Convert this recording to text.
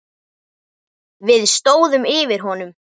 Við stóðum yfir honum.